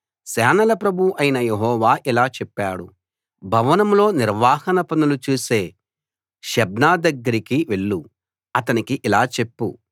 సేనల ప్రభువు అయిన యెహోవా ఇలా చెప్పాడు భవనంలో నిర్వహణా పనులు చూసే షెబ్నా దగ్గరకి వెళ్ళు అతనికి ఇలా చెప్పు